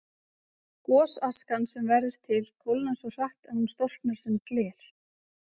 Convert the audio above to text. Gosaskan sem verður til kólnar svo hratt að hún storknar sem gler.